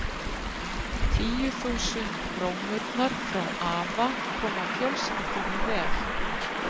Tveir risar með heiminn í heljargreipum.